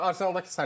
Arsenal dakı Saliba.